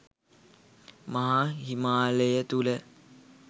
මහා හිමාලය තුළ